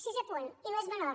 sisè punt i no és menor